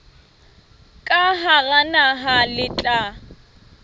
ka hara naha le tla